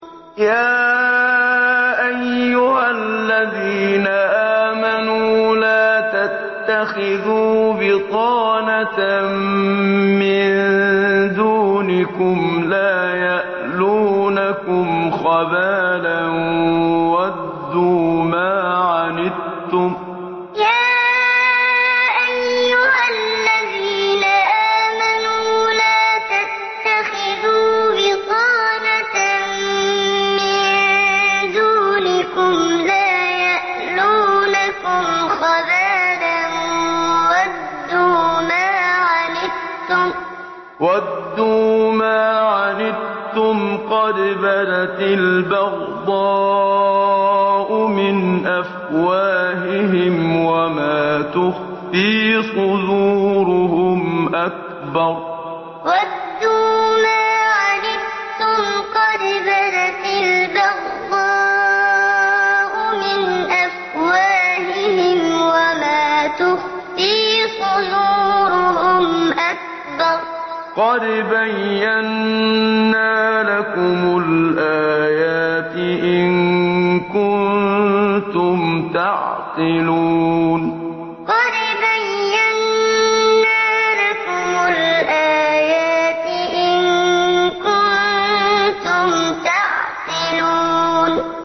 يَا أَيُّهَا الَّذِينَ آمَنُوا لَا تَتَّخِذُوا بِطَانَةً مِّن دُونِكُمْ لَا يَأْلُونَكُمْ خَبَالًا وَدُّوا مَا عَنِتُّمْ قَدْ بَدَتِ الْبَغْضَاءُ مِنْ أَفْوَاهِهِمْ وَمَا تُخْفِي صُدُورُهُمْ أَكْبَرُ ۚ قَدْ بَيَّنَّا لَكُمُ الْآيَاتِ ۖ إِن كُنتُمْ تَعْقِلُونَ يَا أَيُّهَا الَّذِينَ آمَنُوا لَا تَتَّخِذُوا بِطَانَةً مِّن دُونِكُمْ لَا يَأْلُونَكُمْ خَبَالًا وَدُّوا مَا عَنِتُّمْ قَدْ بَدَتِ الْبَغْضَاءُ مِنْ أَفْوَاهِهِمْ وَمَا تُخْفِي صُدُورُهُمْ أَكْبَرُ ۚ قَدْ بَيَّنَّا لَكُمُ الْآيَاتِ ۖ إِن كُنتُمْ تَعْقِلُونَ